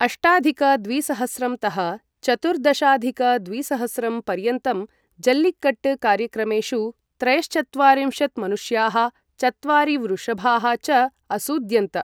अष्टाधिक द्विसहस्रं तः चतुर्दशाधिक द्विसहस्रं पर्यन्तं, जल्लिकट्ट् कार्यक्रमेषु त्रयश्चत्वारिंशत् मनुष्याः चत्वारि वृषभाः च असूद्यन्त।